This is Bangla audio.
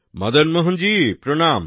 মদন মোহন জি প্রণাম